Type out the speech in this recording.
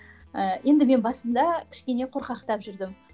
ыыы енді мен басында кішкене қорқақтап жүрдім